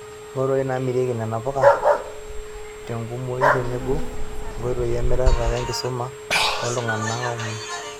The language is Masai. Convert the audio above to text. Nkoitoi namirieki nena puka tenkumoi tenebo nkoitoi emirata wenkisuma tooltung'ana omon.